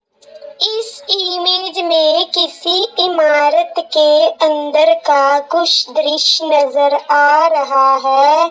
इस इमेज में किसि इमारत के अंदर का कुछ द्रश्य नजर आ रहा है।